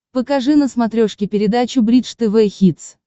покажи на смотрешке передачу бридж тв хитс